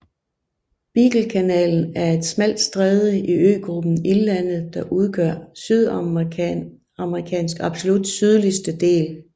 Beaglekanalen er et smalt stræde i øgruppen Ildlandet der udgør Sydamerikas absolut sydligste del